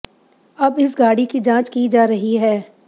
अब इस गाड़ी की जांच की जा रही है